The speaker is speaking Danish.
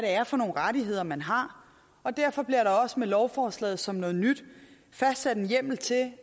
er for nogle rettigheder man har og derfor bliver der også med lovforslaget som noget nyt fastsat en hjemmel til at